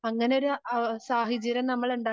അങ്ങനെയൊരു ആഹ് സാഹചര്യം നമ്മള്